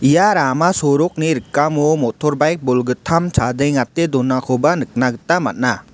ia rama sorokni rikamo motor baik bolgittam chadengate donakoba nikna gita man·a.